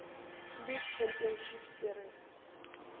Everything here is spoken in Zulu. league championship series